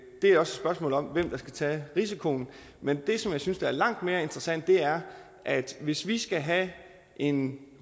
er et spørgsmål om hvem der skal tage risikoen men det som jeg synes er langt mere interessant er at hvis vi skal have en